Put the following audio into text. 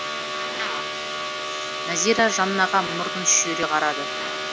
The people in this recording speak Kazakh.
назира жаннаға мұрнын шүйіре қарады